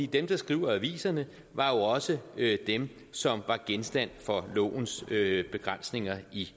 dem der skriver aviserne var jo også dem som var genstand for lovens begrænsninger i